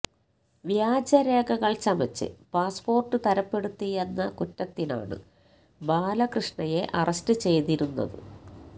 വ്യാജരേഖകള് ചമച്ച് പാസ്പോര്ട്ട് തരപ്പെടുത്തിയെന്ന കുറ്റത്തിനാണ് ബാലകൃഷ്ണയെ അറസ്റ്റ് ചെയ്തിരുന്നത്